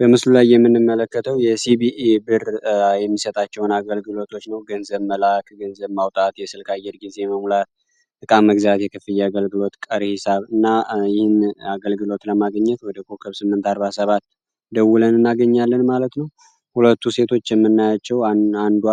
በምስሉላይ የምንመለከተው የሲቢኢ ብር የሚሰታቸውን አገልግሎቶች ነው ገንዘብ መላአክ ገንዘብ ማውጣዕት የስልካየር ጊዜ መሙላት እቃም እግዚያት ክፍ የአገልግሎት ቀርሂሳብ እና ይህን አገልግሎት ለማገኘት ወደ ኮከብ ስምንት 4ርባ ሰባት ደውለንእና ገኛለን ማለት ነው ሁለቱ ሴቶች የምናያቸው አንዷ